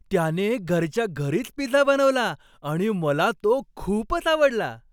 त्याने घरच्या घरीच पिझ्झा बनवला आणि मला तो खूपच आवडला.